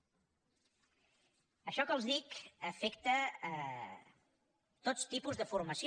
això que els dic afecta tots tipus de formació